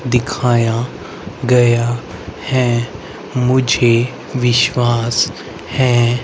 दिखाया गया है मुझे विश्वास है।